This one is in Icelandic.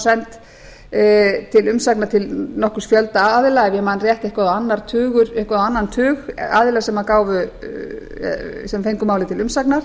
send til umsagnar til nokkurs fjölda aðila ef ég man rétt eitthvað á annan tug aðila sem fengu málið til umsagnar